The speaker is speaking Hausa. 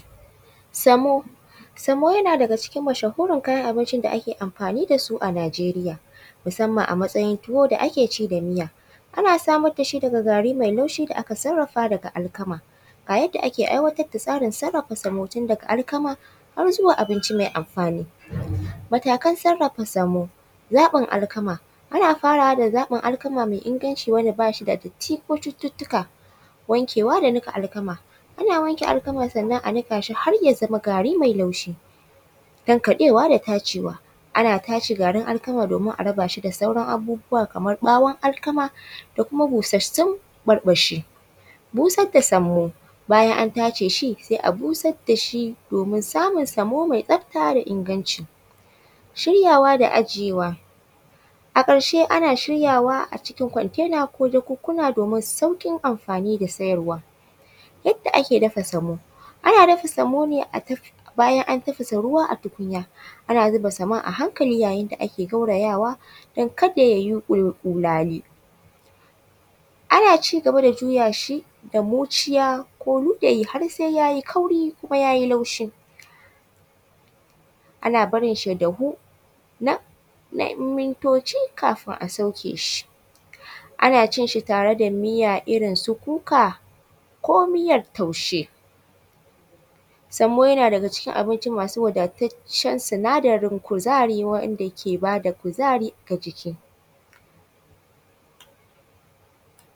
Semo. Semo yana daga cikin mashahurin kayan abincin da ake amfani da su a Nigeria, musamman a matsayin tuwo da ake ci da miya. Ana samar da shi daga gari mai laushi da aka sarrafa daga alkama. Ga yadda ake aiwatar da tsarin sarrafa semo tun daga alkama har zuwa abinci mai amfani. Matakan sarrafa semo: zaɓin alkama:- ana farawa da zaɓin alkama mai inganci wanda ba shi da datti ko cututtuka. Wankewa da niƙa alkama:- ana wanke alkama sannan a niƙa shi har ya zama gari mai laushi. Tankaɗewa da tacewa:- ana tace garin alkama domin a raba shi da sauran abubuwa kamar ɓawon alkama da kuma busassun ɓurɓushi. Busar da semo:- bayan an tace shi, sai a busar da shi domin samun semo mai tsafta da inganci. Shiryawa da ajiyewa:- a ƙarshe ana shiryawa a cikin container ko jakunkuna domin sauƙin amfani da siyarwa. Yadda ake dafa semo: ana dafa semo ne bayan an tafasa ruwa a tukunya. Ana zuba semon a hankali yayin da ake gaurayawa don kada ya yi ƙulali. Ana ci gaba da juya shi da muciya ko luda yi har sai ya yi kauri kuma ya y laushi. Ana barin shi ya dahu na ‘yan mintoci kafin a sauke shi. Ana cin shi da miya irin su kuka ko miyar taushe. Semo yana daga cikin abinci masu wadataccen sinadarin kuzari waɗanda ke ba da kuzari ga jiki.